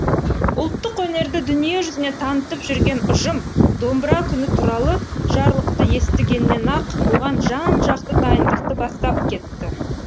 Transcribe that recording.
ұлттық өнерді дүниежүзіне танытып жүрген ұжым домбыра күні туралы жарлықты естігеннен ақ оған жан жақты дайындықты бастап кетті